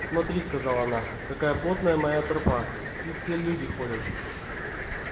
смотри сказала она какая плотная моя тропа тут все люди ходят